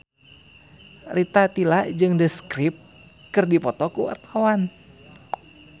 Rita Tila jeung The Script keur dipoto ku wartawan